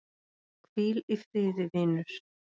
Hvíl í friði vinur.